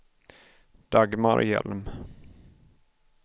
Dagmar Hjelm